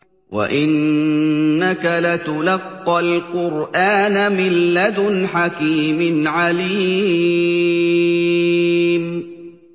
وَإِنَّكَ لَتُلَقَّى الْقُرْآنَ مِن لَّدُنْ حَكِيمٍ عَلِيمٍ